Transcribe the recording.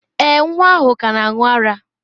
Èè, nwa ahụ ka na-aṅụ ara.